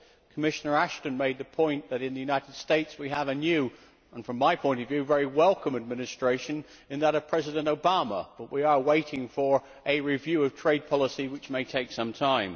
Commissioner Ashton made the point that in the United States we have a new, and from my point of view, very welcome, administration in that of President Obama, but we are waiting for a review of trade policy, which may take some time.